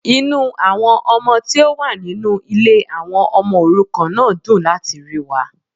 Inú àwọn ọmọ tí ó wà nínú Ilé àwon omo òrukàn náà dùn láti ríi wa